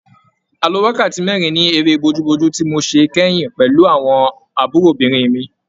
A lo wákàtí mẹ́rin ní eré bojúbojú tí mo ṣe kẹ́yìn pẹ̀lú àwọn àbúròbìnrin mi.